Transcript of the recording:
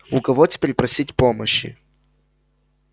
у кого теперь просить помощи